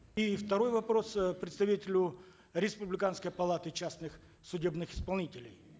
и второй вопрос э представителю республиканской палаты частных судебных исполнителей